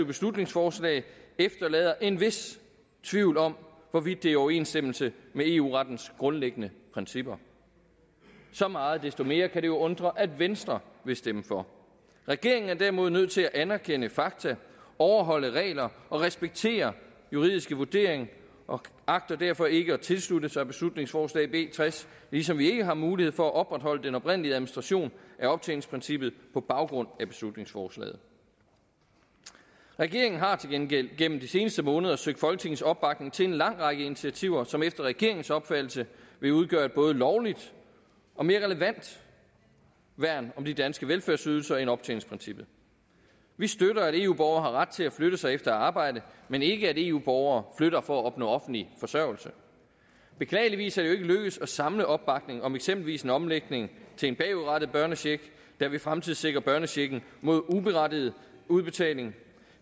beslutningsforslag efterlader en vis tvivl om hvorvidt det er i overensstemmelse med eu rettens grundlæggende principper så meget desto mere kan det jo undre at venstre vil stemme for regeringen er derimod nødt til at anerkende fakta overholde regler og respektere juridiske vurderinger og agter derfor ikke at tilslutte sig beslutningsforslag b tres ligesom vi ikke har mulighed for at opretholde den oprindelige administration af optjeningsprincippet på baggrund af beslutningsforslaget regeringen har til gengæld gennem de seneste måneder søgt folketingets opbakning til en lang række initiativer som efter regeringens opfattelse vil udgøre et både lovligt og mere relevant værn om de danske velfærdsydelser end optjeningsprincippet vi støtter at eu borgere har ret til at flytte sig efter arbejde men ikke at eu borgere flytter for at opnå offentlig forsørgelse beklageligvis er det jo ikke lykkedes at samle opbakning om eksempelvis en omlægning til en bagudrettet børnecheck der vil fremtidssikre børnechecken mod uberettiget udbetaling